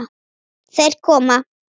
Þeir koma!